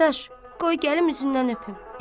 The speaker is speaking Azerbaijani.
Dadaş, qoy gəlim üzündən öpüm.